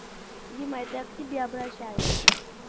дима это я к тебе обращаюсь